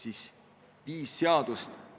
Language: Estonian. Seega viis seadust.